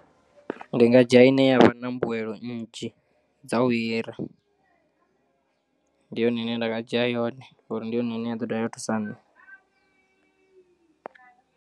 Ndi nga dzhia ine yavha na mbuyelo nnzhi dza u hira ndi yone ine nda nga dzhia yone ngauri ndi yone ine ya ḓo dovha ya thusa nṋe.